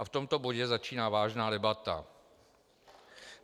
A v tomto bodě začíná vážná debata.